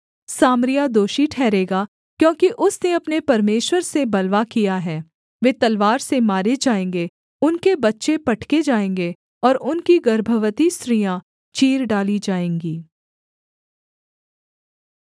सामरिया दोषी ठहरेगा क्योंकि उसने अपने परमेश्वर से बलवा किया है वे तलवार से मारे जाएँगे उनके बच्चे पटके जाएँगे और उनकी गर्भवती स्त्रियाँ चीर डाली जाएँगी